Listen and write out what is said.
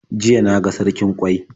Jiya na ga sarkin ƙwai.